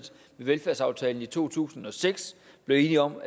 velfærdsaftalen i to tusind og seks blev enige om